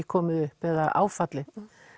komið upp eða áfallið